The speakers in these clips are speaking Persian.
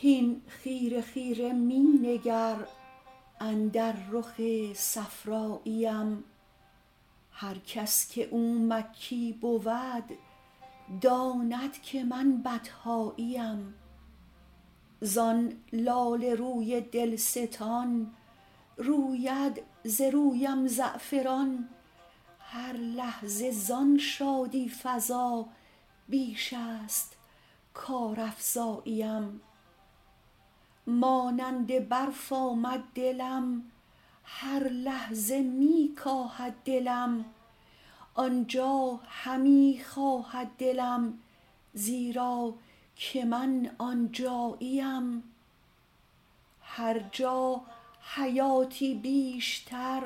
هین خیره خیره می نگر اندر رخ صفراییم هر کس که او مکی بود داند که من بطحاییم زان لاله روی دلستان روید ز رویم زعفران هر لحظه زان شادی فزا بیش است کارافزاییم مانند برف آمد دلم هر لحظه می کاهد دلم آن جا همی خواهد دلم زیرا که من آن جاییم هر جا حیاتی بیشتر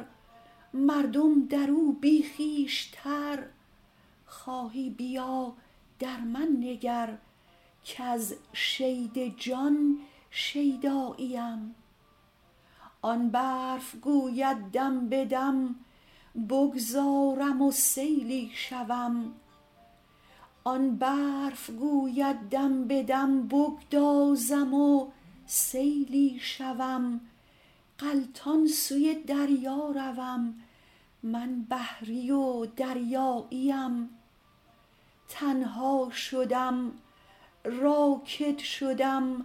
مردم در او بی خویشتر خواهی بیا در من نگر کز شید جان شیداییم آن برف گوید دم به دم بگدازم و سیلی شوم غلطان سوی دریا روم من بحری و دریاییم تنها شدم راکد شدم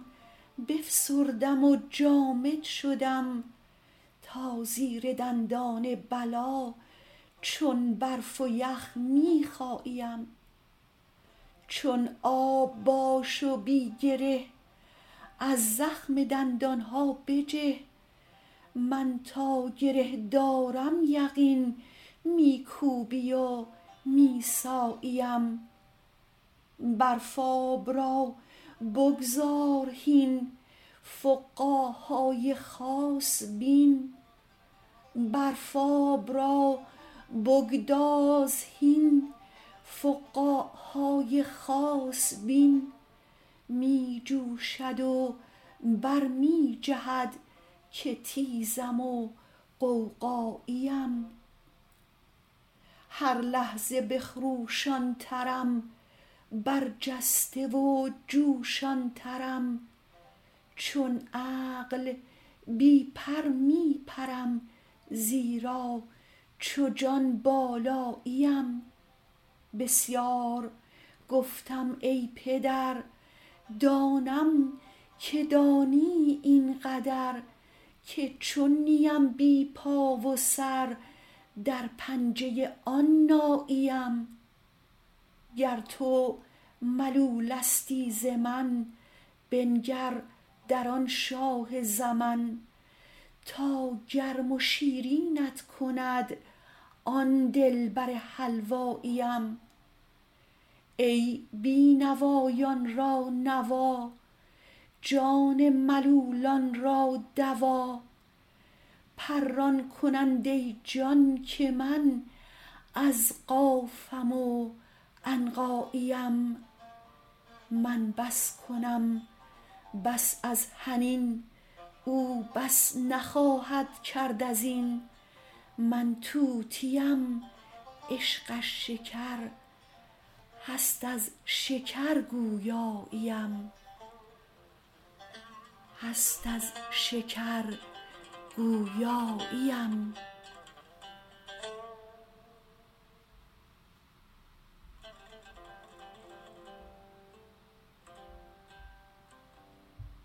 بفسردم و جامد شدم تا زیر دندان بلا چون برف و یخ می خاییم چون آب باش و بی گره از زخم دندان ها بجه من تا گره دارم یقین می کوبی و می ساییم برف آب را بگذار هین فقاع های خاص بین می جوشد و بر می جهد که تیزم و غوغاییم هر لحظه بخروشان ترم برجسته و جوشان ترم چون عقل بی پر می پرم زیرا چو جان بالاییم بسیار گفتم ای پدر دانم که دانی این قدر که چون نیم بی پا و سر در پنجه آن ناییم گر تو ملولستی ز من بنگر در آن شاه زمن تا گرم و شیرینت کند آن دلبر حلواییم ای بی نوایان را نوا جان ملولان را دوا پران کننده جان که من از قافم و عنقاییم من بس کنم بس از حنین او بس نخواهد کرد از این من طوطیم عشقش شکر هست از شکر گویاییم